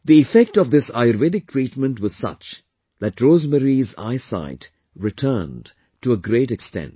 The effect of this Ayurvedic treatment was such that Rosemary's eyesight returned to a great extent